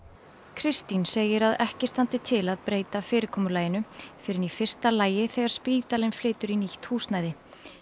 Kristín segir að ekki standi til að breyta fyrirkomulaginu fyrr en í fyrsta lagi þegar spítalinn flytur í nýtt húsnæði